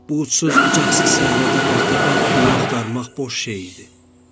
Bu ucsuz-bucaqsız səhrada bəxtəbəxt quyu axtarmaq boş şey idi.